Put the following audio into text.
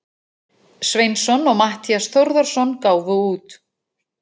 Sveinsson og Matthías Þórðarson gáfu út.